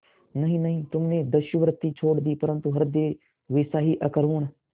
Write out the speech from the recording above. नहीं नहीं तुमने दस्युवृत्ति छोड़ दी परंतु हृदय वैसा ही अकरूण